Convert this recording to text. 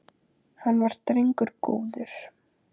Hann var drengur góður